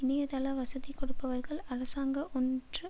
இணையதள வசதி கொடுப்பவர்கள் அரசாங்க ஒன்று